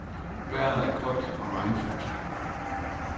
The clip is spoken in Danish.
Vejret er koldt og regnfuldt.